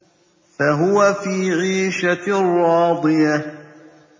فَهُوَ فِي عِيشَةٍ رَّاضِيَةٍ